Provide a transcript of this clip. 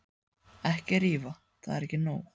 Ekki rífa, það er ekki nóg.